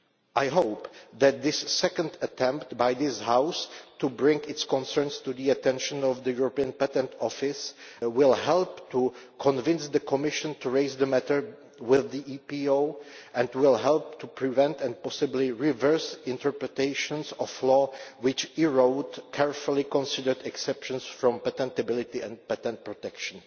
I hope that this second attempt by this House to bring its concerns to the attention of the European Patent Office will help to convince the Commission to raise the matter with the EPO and will help to prevent, and possibly reverse, interpretations of law which erode carefully considered exceptions to patentability and patent protection.